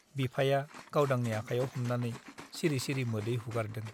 बिफाया गावदांनि आखाइयाव हमनानै सिरि सिरि मोदै हुगारदों ।